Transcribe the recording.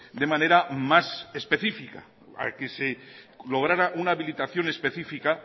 de manera más específica a que se lograra una habilitación específica